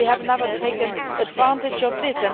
We have never taken advantage of this.